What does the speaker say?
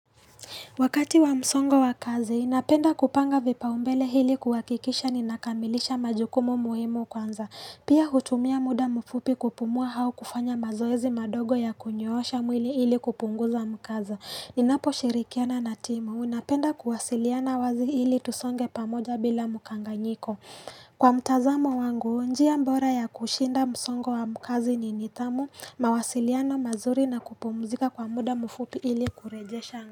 Wakati wa msongo wa kazi, napenda kupanga vipaumbele hili kuhakikisha ninakamilisha majukumu muhimu kwanza. Pia hutumia muda mfupi kupumua au kufanya mazoezi madogo ya kunyoosha mwili hili kupunguza mkaza. Ninaposhirikiana na timu, napenda kuwasiliana wazi hili tusonge pamoja bila mukanganyiko. Kwa mtazamo wangu, njia mbora ya kushinda msongo wa mkazi ni nithamu, mawasiliano mazuri na kupumzika kwa muda mfupi hili kurejesha.